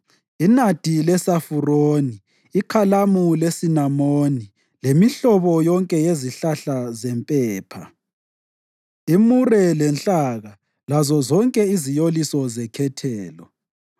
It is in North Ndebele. inadi lesafuroni, ikhalamu lesinamoni, lemihlobo yonke yezihlahla zempepha, imure lenhlaba lazozonke iziyoliso zekhethelo.